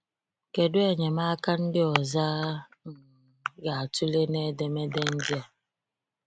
Kedụ enyemaka ndị ọzọ a um ga-atụle n’edemede ndịa?